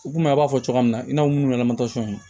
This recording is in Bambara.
U komi a b'a fɔ cogoya min na i n'a fɔ minnu yɛrɛ ni